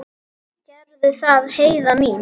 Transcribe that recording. Gerðu það, Heiða mín.